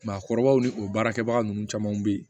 Maakɔrɔbaw ni o baarakɛbaga ninnu caman bɛ yen